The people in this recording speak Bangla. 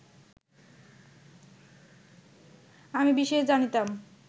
আমি বিশেষ জানিতাম